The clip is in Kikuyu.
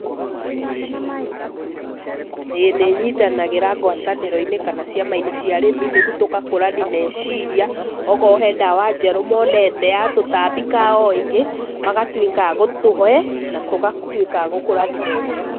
Ĩĩ nĩ nyitanagĩra ngwatanĩro-inĩ kana ciama-inĩ cia arĩmi, nĩguo tũgakũrani meciria, okorwo he ndawa njerũ monete ya tũtambi kana o ĩngĩ magatũika a gũtũhe na tũgatũĩka a gũkũrani meciria.